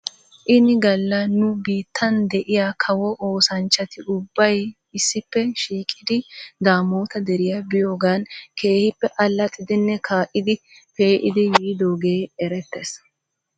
Ini gala nu biittan de'iyaa kawo oosanchchati ubbay issippe shiiqidi daamoota deriyaa biiyoogan keehippe allaxiiddinne kaa'iidi peeidi yiidoogee erettes .